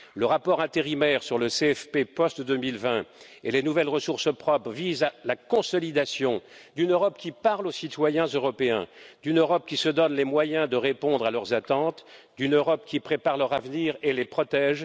Le rapport intérimaire sur le CFP post 2020 et les nouvelles ressources propres vise à la consolidation d'une Europe qui parle aux citoyens européens, d'une Europe qui se donne les moyens de répondre à leurs attentes, d'une Europe qui prépare leur avenir et les protège.